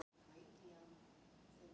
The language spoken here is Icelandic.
Augu mín hreyfast ekki.